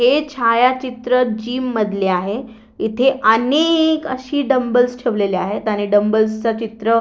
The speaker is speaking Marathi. हे छायाचित्र जीम मधले आहे इथे अनेक अशी डम्बल्स ठेवलेले आहेत आणि डम्बल्स च चित्र--